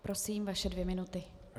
Prosím, vaše dvě minuty.